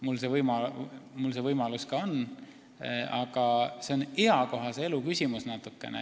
Mul on ka see võimalus, aga see on natuke eakohase elu küsimus.